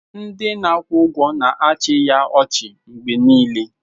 Ndị na-akwụ ụgwọ na-achị ya ọchị mgbe niile